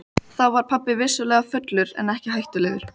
Þá var pabbi vissulega fullur en ekki hættulegur.